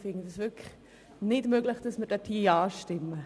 Ich finde es wirklich nicht möglich, hier Ja zu stimmen.